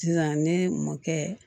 Sisan ne mɔkɛ